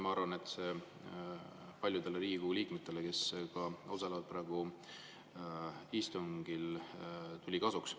Ma arvan, et see tuli paljudele Riigikogu liikmetele, kes osalevad praegu istungil, kasuks.